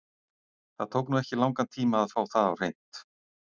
Það tók nú ekki langan tíma að fá það á hreint.